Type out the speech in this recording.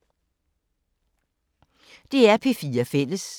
DR P4 Fælles